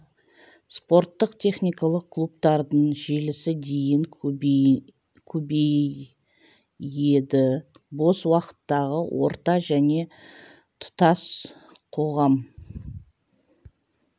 спорттық-техникалық клубтардың желісі дейін көбейеді бос уақыттағы орта және тұтас қоғам